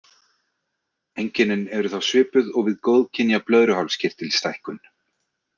Einkennin eru þá svipuð og við góðkynja blöðruhálskirtilsstækkun.